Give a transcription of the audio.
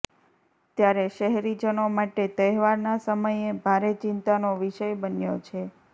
ત્યારે શહેરીજનો માટે તહેવારના સમયે ભારે ચિંતાનો વિષય બન્યો છે